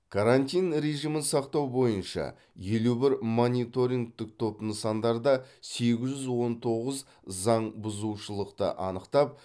карантин режимін сақтау бойынша елу бір мониторингтік топ нысандарда сегіз жүз он тоғыз заңбұзушылықты анықтап